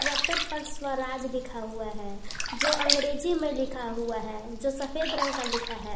Tractor पर स्वराज लिखा हुआ है जो अंग्रेजी में लिखा हुआ है जो सफेद रंग का लिखा है।